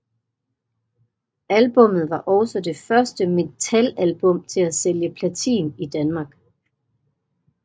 Albummet var også det første metalalbum til at sælge platin i Danmark